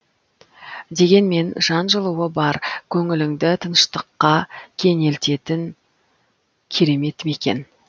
дегенмен жан жылуы бар көңіліңді тыныштыққа кенелтетін керемет мекен